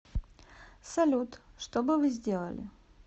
салют что бы вы сделали